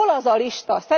Hol az a lista?